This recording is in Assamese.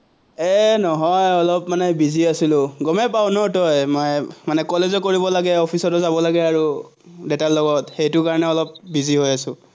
এৰ নহয় আহ অলপ মানে busy আছিলো। গমেই পাৱ তই, মানে কলেজো কৰিব লাগে, অফিচলৈও যাব লাগে, দেতাৰ লগত, সেইটো কাৰণে অলপ বিজিহৈ আছো।